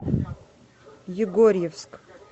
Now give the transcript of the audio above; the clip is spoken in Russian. егорьевск